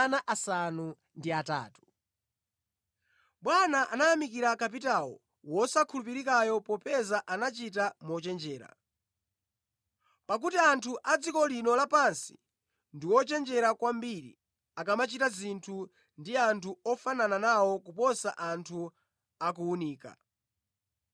“Bwana anayamikira kapitawo wosakhulupirikayo popeza anachita mochenjera. Pakuti anthu a dziko lino lapansi ndi ochenjera kwambiri akamachita zinthu ndi anthu ofanana nawo kuposa anthu a kuwunika.